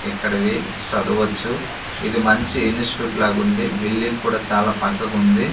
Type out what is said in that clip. ఇక్కడివి చదవచ్చు ఇది మంచి ఇన్స్టిట్యూట్ లాగుంది బిల్డింగ్ కుడా చాలా పక్కకుంది.